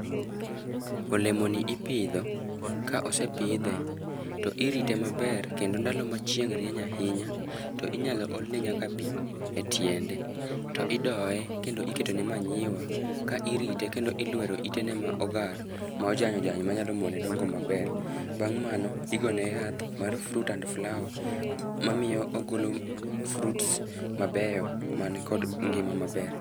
Olemoni ipidho, ka osepidhe, to irite maber, kendo ndalo ma chieng' rieny ahinya, to inyalo olne nyaka pii e tiende. To idoye, kendo iketone manyiwa, ka irite, kendo ilwero itene ma ogar, ma ojany ojany, manyalo mone dongo maber. Bang' mano, igone yath mar fruit and flower, mamiyo ogolo fruits mabeyo man kod ngima maber.